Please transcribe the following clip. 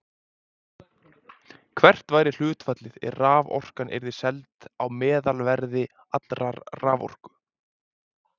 Hvert væri hlutfallið ef raforkan yrði seld á meðalverði allrar raforku?